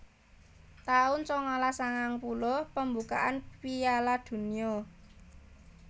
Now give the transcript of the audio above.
taun sangalas sangang puluh Pembukaan Piala Donya